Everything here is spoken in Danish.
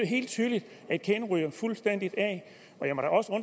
helt tydeligt at kæden ryger fuldstændig